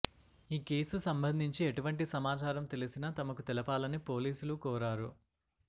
ఈ కేసు సంబంధించి ఎటువంటి సమాచారం తెలిసినా తమకు తెలపాలని పోలీసులు కోరారు